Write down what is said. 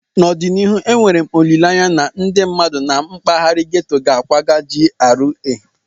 N'ọdịnihu, enwere m olileanya na ndị mmadụ na mpaghara ghetto ga-akwaga GRA